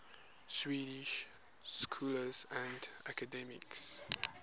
swedish scholars and academics